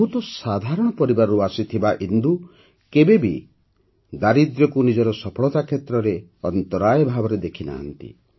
ବହୁତ ସାଧାରଣ ପରିବାରରୁ ଆସିଥିବା ଇନ୍ଦୁ କେବେ ବି ଦରିଦ୍ରତାକୁ ନିଜ ସଫଳତା କ୍ଷେତ୍ରରେ ଅନ୍ତରାୟ ଭାବରେ ଦେଖିନାହାଁନ୍ତି